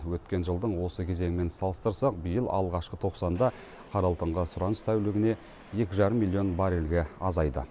өткен жылдың осы кезеңімен салыстырсақ биыл алғашқы тоқсанда қара алтынға сұраныс тәулігіне екі жарым миллион баррельге азайды